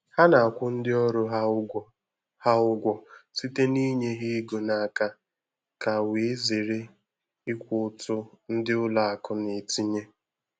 Ha na-akwụ ndị ọrụ ha ụgwọ ha ụgwọ site na-inye ha ego n'aka ka wee zere ịkwụ ụtụ ndị ụlọ akụ na-etinye